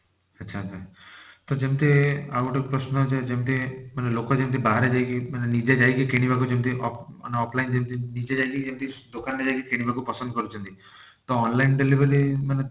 ଆଚ୍ଛା ଆଚ୍ଛା ତ ଯେମତି ଆଉ ଗୋଟେ ପ୍ରଶ୍ନ ଯେ ଯେମତି ମାନେ ଲୋକ ଯେମତି ବାହାରେ ଯାଇକି ମାନେ ନିଜେ ଯାଇକି କିଣିବାକୁ ଯେମତି ଅ ମାନେ offline ଯେମତି ନିଜେ ଯାଇକି ଯେମତି ଦୋକାନ ରେ ଯାଇକି କିଣିବାକୁ ପସନ୍ଦ କରୁଛନ୍ତି ତ online delivery ମାନେ